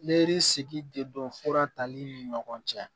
Neri sigi de don fura tali ni ɲɔgɔn cɛ